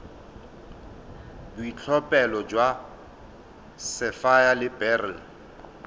boitlhophelo jwa sapphire le beryl